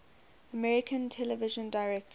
american television directors